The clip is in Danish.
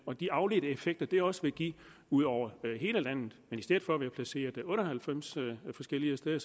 og de afledte effekter det også vil give ud over hele landet i stedet for det placeret otte og halvfems forskellige steder